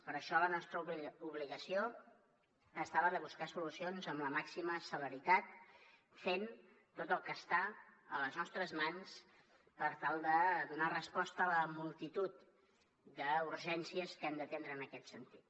per això dins la nostra obligació ha estat la de buscar solucions amb la màxima celeritat fent tot el que està a les nostres mans per tal de donar resposta a la multitud d’urgències que hem d’atendre en aquest sentit